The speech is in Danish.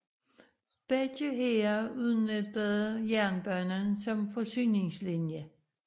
Begge hære udnyttede jernbanen som forsyningslinje